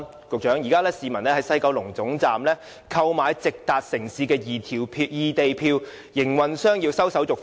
局長，現時市民在西九龍站購買直達內地不同城市的異地票，營運商要收手續費。